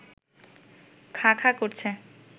খাঁ খাঁ করছে